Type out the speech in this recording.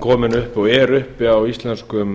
kom upp og er uppi á íslenskum